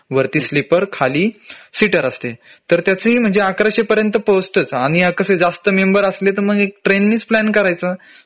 वरती स्लीपर खाली सीटर असते तर त्याचंही म्हंजे अकराशे पर्यंत पोहोचतच आणि यात कसंय जास्त मेंबर असले तर मग ट्रेन नीच प्लॅन करायचा